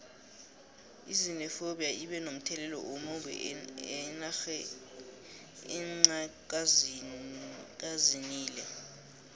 izinephobtiya ibe nomthelelo omumbi enxha kazinile